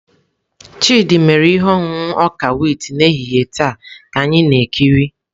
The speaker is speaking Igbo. Chidị mere ihe ọṅụṅụ ọka wit n'ehihie taa ka anyị na-ekiri.